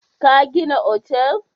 Ka gina otal!